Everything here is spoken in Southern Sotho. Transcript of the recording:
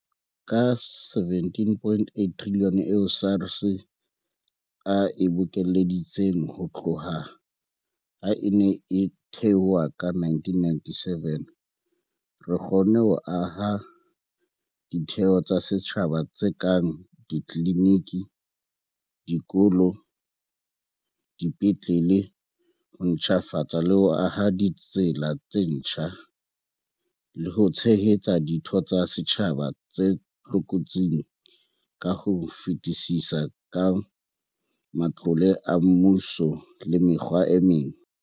Ka R17.8 trilione eo SARS e bokeleditseng ho tloha ha e ne e thehwa ka 1997, re kgonne ho aha ditheo tsa setjhaba tse kang ditliniki, dikolo, dipetlele, ho ntjhafatsa le ho aha ditsela tse ntjha, le ho tshehetsa ditho tsa setjhaba tse tlokotsing ka ho fetisisa ka matlole a mmuso le mekgwa e meng.